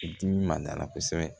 Dimi ma d'a la kosɛbɛ